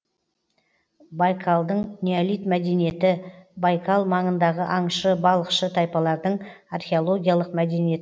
байкалдың неолит мәдениеті байкал маңындағы аңшы балықшы тайпалардың археологиялық мәдениет